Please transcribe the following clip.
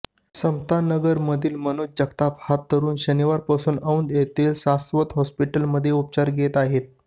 समतानगरमधील मनोज जगताप हा तरूण शनिवारपासून औध येथील सास्वत हाँस्पिटलमध्ये उपचार घेत आहे